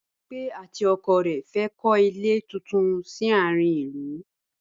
Bímpé àti ọkọ rẹ̀ fẹ́ kọ́ ilé tuntun sí àárín ìlú